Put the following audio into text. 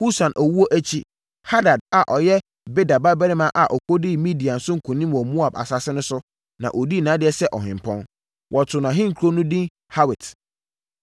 Husam owuo akyi Hadad a ɔyɛ Bedad babarima a ɔkɔdii Midian so nkonim wɔ Moab asase so no na ɔdii nʼadeɛ sɛ ɔhempɔn. Wɔtoo nʼahenkuro no edin Hawit.